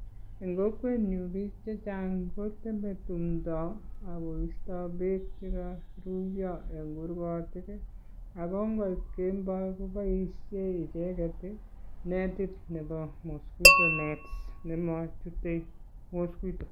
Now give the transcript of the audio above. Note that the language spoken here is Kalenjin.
En kokwenyun ko biik chechang koteme tumtondo ago isto beek che koruiyo en kurgotik ago nkoit kemboi koboishen icheget ii netit nebo mosquito net nemochute mosquito.